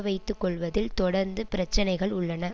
வைத்து கொள்வதில் தொடர்ந்து பிரச்சினைகள் உள்ளன